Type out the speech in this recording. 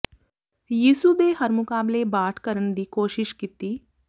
ਯਿਸੂ ਦੇ ਹਰ ਮੁਕਾਬਲੇ ਬਾਠ ਕਰਨ ਦੀ ਕੋਸ਼ਿਸ਼ ਕੀਤੀ